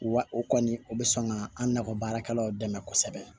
Wa o kɔni o bɛ sɔn ka an nakɔ baarakɛlaw dɛmɛ kosɛbɛ